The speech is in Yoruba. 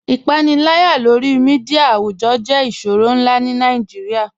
Ipànìlàyà lórí mídia àwùjọ̀ jẹ̀ ìṣòrọ̀ nlá ní Nàìjíríà.